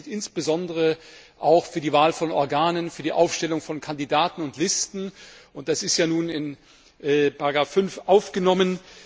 Das gilt insbesondere auch für die Wahl von Organen, für die Aufstellung von Kandidaten und Listen, und das ist ja nun in Ziffer 5 aufgenommen.